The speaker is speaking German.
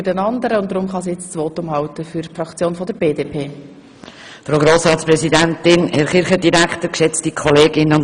Wir beginnen nun mit der BDP, da Vania Kohli danach wieder als Stimmenzählerin amten muss.